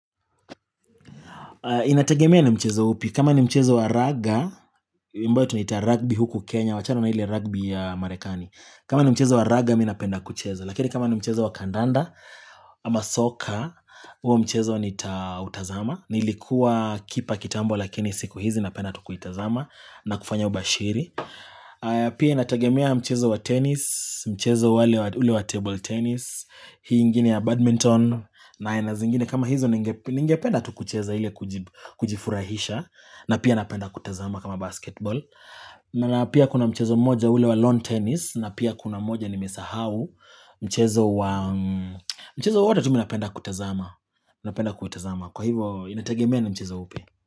Inategemea ni mchezo upi kama ni mchezo wa raga ambao tunita rugby huku Kenya wachana na ile rugby ya marekani kama ni mchezo wa raga mi napenda kucheza lakini kama ni mchezo wa kandanda ama soccer huo mchezo nitautazama nilikuwa kipa kitambo lakini siku hizi napenda tu kuitazama nakufanya ubashiri pia inategemea mchezo wa tenis mchezo ule wa table tenis hii ingine ya badminton na aina zingine kama hizo ningependa tu kucheza ile kujifurahisha na pia napenda kutazama kama basketball na pia kuna mchezo mmoja ule wa lawn tennis na pia kuna mmoja ni mesahau mchezo wa mchezo wote tu mimi napenda kutazama mi napenda kutazama kwa hivo inategemea ni mchezo upi.